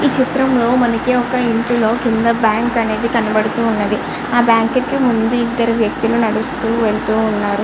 ఈ చిత్రం లో మనకి ఒక ఇంటిలో కింద బ్యాంకు అనేది ఒకటి కనిపిస్తూ ఉన్నది ఆ బ్యాంకు లో ఇద్దరు వ్యక్తులు నడుస్తూ వెళ్తున్నారు .